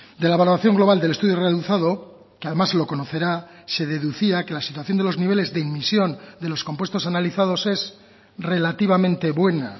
de la evaluación global del estudio realizado que además lo conocerá se deducía que la situación de los niveles de emisión de los compuestos analizados es relativamente buena